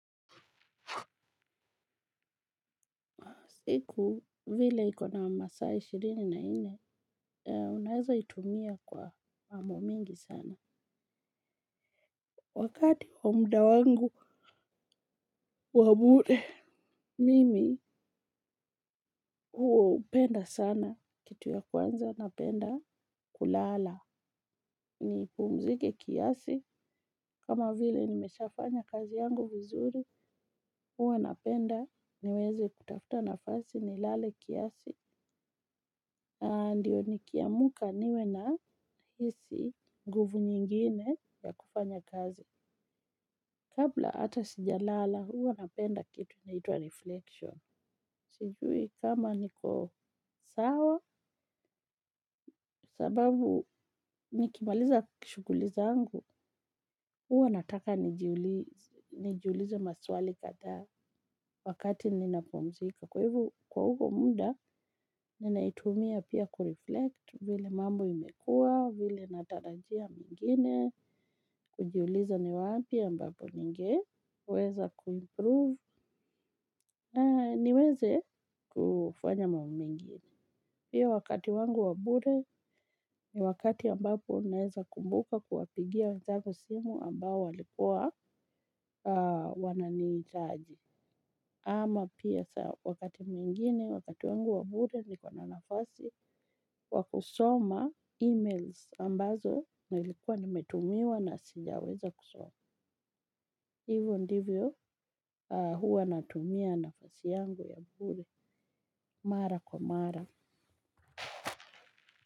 Siku vile ikona masaa ishirini na nne, unaweza itumia kwa mambo mingi sana. Wakati wa muda wangu wa bure, mimi hupenda sana. Kitu ya kwanza napenda kulala. Nipumzike kiasi. Kama vile nimeshafanya kazi yangu vizuri huwa napenda. Niweze kutafuta nafasi nilale kiasi. Ndiyo nikiamka niwe nahisi nguvu nyingine ya kufanya kazi. Kabla hata sijalala huwa napenda kitu inaitwa reflection. Sijui kama niko sawa sababu nikimaliza shughuli zangu. Huwa nataka nijiulize maswali kadhaa wakati ninapumzika. Kwa huo muda, ninaitumia pia kureflect vile mambo imekuwa, vile natarajia mengine, kujiuliza ni wapi ambapo ningeweza kuimprove na niweze kufanya mambo mengine. Pia wakati wangu wangu wa bure ni wakati ambapo naeza kumbuka kuwapigia wenzangu simu ambao walikuwa wananihitaji. Ama pia saa wakati mwingine wakati wangu wa bure niko na nafasi wa kusoma e-mails ambazo nilikuwa nimetumiwa na sijaweza kusoma hivyo ndivyo huwa natumia nafasi yangu ya bure mara kwa mara.